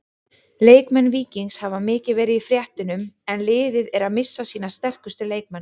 Leikmenn Víkings hafa mikið verið í fréttunum en liðið er að missa sína sterkustu leikmenn.